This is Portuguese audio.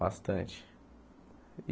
Bastante.